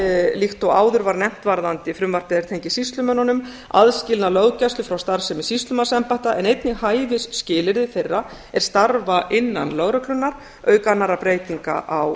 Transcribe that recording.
líkt og áður var nefnt varðandi frumvarpið er tengist sýslumönnunum aðskilnað löggæslu frá starfsemi sýslumannsembætta en einnig hæfi skilyrði þeirra er starfa innan lögreglunnar auk annarra breytinga á